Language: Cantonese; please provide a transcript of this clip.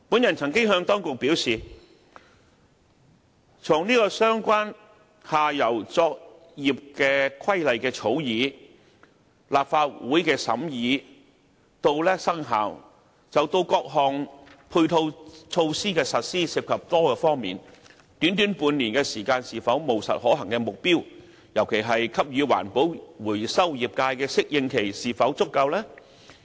我曾經向當局表示，從相關下游作業規劃的草擬、立法會的審議至生效，到各項配套措施的落實，涉及多方面，短短半年時間是否務實可行的目標，特別是給予環保回收業界的適應期是否足夠呢？